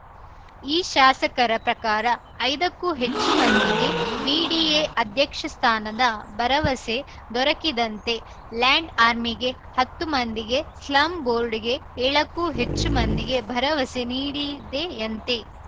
ಈ ಶಾಸಕರ ಪ್ರಕಾರ ಐದಕ್ಕೂ ಹೆಚ್ಚು ಮಂದಿಗೆ ಬಿಡಿಎ ಅಧ್ಯಕ್ಷ ಸ್ಥಾನದ ಭರವಸೆ ದೊರಕಿದಂತೆ ಲ್ಯಾಂಡ್‌ ಆರ್ಮಿಗೆ ಹತ್ತು ಮಂದಿಗೆ ಸ್ಲಂ ಬೋರ್ಡ್‌ಗೆ ಏಳಕ್ಕೂ ಹೆಚ್ಚು ಮಂದಿಗೆ ಭರವಸೆ ನೀಡಿದೆಯಂತೆ